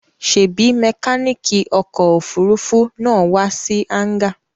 Ṣèbí mẹkáníkì ọkọ̀-òfurufú náà wá sí hángà?